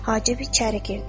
Hacib içəri girdi.